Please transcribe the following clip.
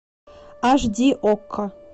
аш ди окко